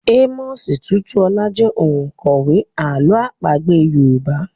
Amos Tutuola jẹ́ òǹkọ̀wé àlọ́ àpagbé Yorùbá.